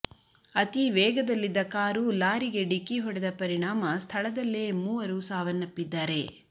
ಅತೀವೇಗದಲ್ಲಿದ್ದ car ಲಾರಿಗೆ ಡಿಕ್ಕಿ ಹೊಡೆದ ಪರಿಣಾಮ ಸ್ಥಳದಲ್ಲೇ ಮೂವರು ಸಾವನ್ನಪ್ಪಿದ್ದಾರೆ